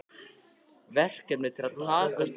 Verkefni til að takast á við?